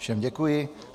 Všem děkuji.